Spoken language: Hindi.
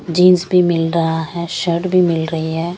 जीन्स भी मिल रहा है शर्ट भी मिल रही है ।